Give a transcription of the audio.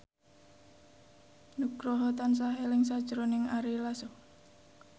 Nugroho tansah eling sakjroning Ari Lasso